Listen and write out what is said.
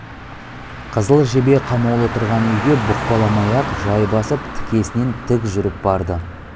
қызыл жебе қамаулы тұрған үйге бұқпаламай-ақ жай басып тікесінен тік жүріп барды